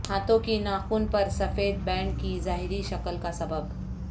ہاتھوں کی ناخن پر سفید بینڈ کی ظاہری شکل کا سبب